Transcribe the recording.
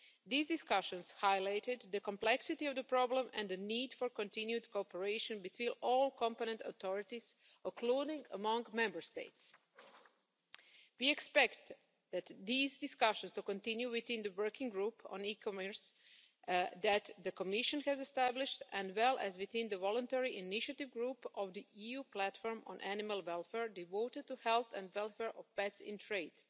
These discussions highlighted the complexity of the problem and the need for continued cooperation between all competent authorities, including among Member States. We expect these discussions to continue within the Working Group on e-commerce that the Commission has established, as well as within the voluntary initiative group of the EU Platform on Animal Welfare devoted to the health and welfare of pets in